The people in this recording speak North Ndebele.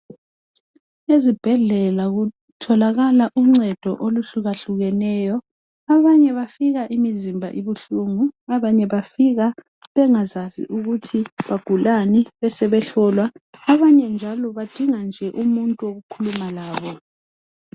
Ezibhedlela kutholakala unceda oluhlukahlukeneyo abanye bafika imizimba ibuhlungu abanye bafika bengazazi ukuthi bagulani bebesebehlolwa abanye njalo badinga nje umuntu wokukhuluma laye.